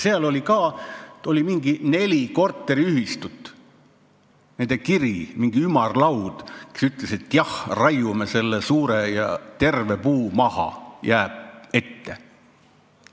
Seal oli ka mingi nelja korteriühistu kiri, mingi ümarlaud, kus öeldi, et jah, raiume selle suure ja terve puu maha, ta jääb ette.